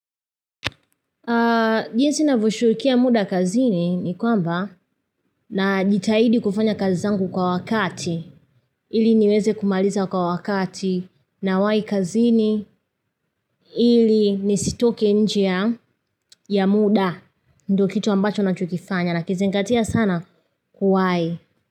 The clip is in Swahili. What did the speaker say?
Jinsi navyo shughulikia muda kazini ni kwamba na jitaidi kufanya kazi zangu kwa wakati ili niweze kumaliza kwa wakati na wai kazini ili nisitoke nje ya muda ndo kitu ambacho nacho kifanya na kizingatia sana kuwai.